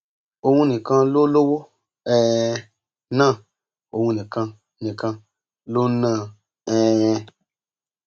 òun nìkan ló lówó um náà òun nìkan nìkan ló ń ná an um